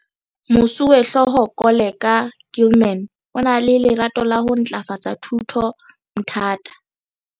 Moswehlooho Koleka Gilman o na le lerato la ho ntlafatsa thuto Mthatha.